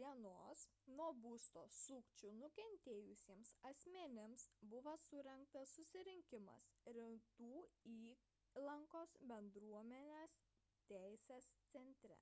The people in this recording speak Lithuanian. d nuo būsto sukčių nukentėjusiems asmenims buvo surengtas susitikimas rytų įlankos bendruomenės teisės centre